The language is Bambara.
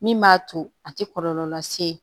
Min b'a to a tɛ kɔlɔlɔ lase